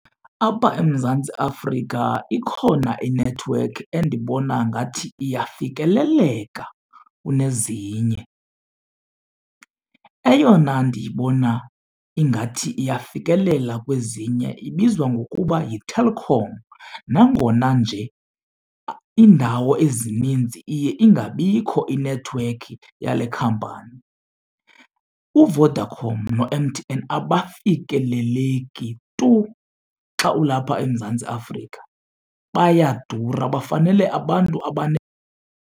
Apha eMzantsi Afrika ikhona inethiwekhi endibona ngathi iyafikeleleka kunezinye. Eyona ndiyibona ingathi iyafikelela kwezinye ibizwa ngokuba yiTelkom nangona nje iindawo ezininzi iye ingabikho inethiwekhi yale khampani. UVodacom no-M_T_N abafikeleleki tu xa ulapha eMzantsi Afrika bayadura, bafanele abantu .